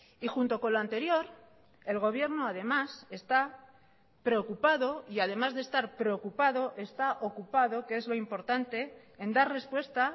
y junto con lo anterior el gobierno además está preocupado y además de estar preocupado está ocupado que es lo importante en dar respuesta